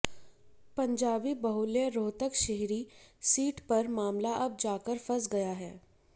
पंजाबी बहुल्य रोहतक शहरी सीट पर मामला अब जाकर फंस गया है